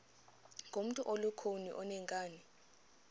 ngumntu olukhuni oneenkani